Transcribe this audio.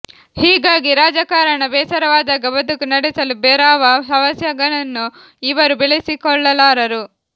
ಹೀಗಾಗಿ ರಾಜಕಾರಣ ಬೇಸರವಾದಾಗ ಬದುಕು ನಡೆಸಲು ಬೇರಾವ ಹವ್ಯಾಸಗಳನ್ನೂ ಇವರು ಬೆಳೆಸಿಕೊಳ್ಳಲಾರರು